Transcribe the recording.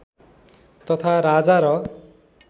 तथा राजा र